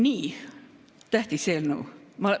Nii et tähtis eelnõu.